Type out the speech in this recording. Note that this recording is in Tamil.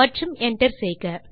மற்றும் enter செய்க